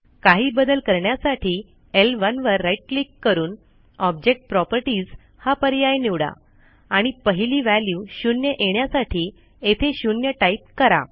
काही बदल करण्यासाठी L1वर राईट क्लिक करून ऑब्जेक्ट प्रॉपर्टीज हा पर्याय निवडा आणि पहिली व्हॅल्यू 0येण्यासाठी येथे 0टाईप करा